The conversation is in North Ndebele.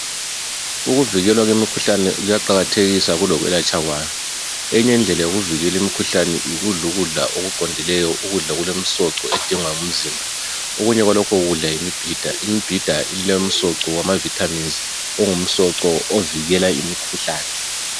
Ukuvikelwa kwemikhuhlane kuyaqakathekisa kulokwelatsha kwayo. Enye indlela yokuvikela imikhuhlane yikudla ukudla okuqondileyo. Ukudla okulemisoco edingwa ngumzimba. Okunye kwalokho kudla yimibhida ,imbhida ilemisoco wamavitamins. Ongumsoco ovikela imikhuhlane.